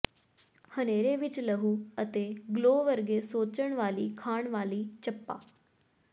ਹਨੇਰੇ ਵਿਚ ਲਹੂ ਅਤੇ ਗਲੋ ਵਰਗੇ ਸੋਚਣ ਵਾਲੀ ਖਾਣ ਵਾਲੀ ਚੱਪਾ